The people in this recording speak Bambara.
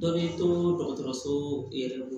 Dɔ b'i to dɔgɔtɔrɔso yɛrɛ bolo